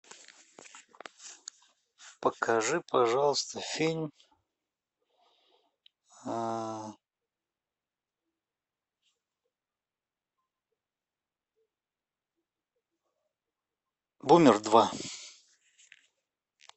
покажи пожалуйста фильм бумер два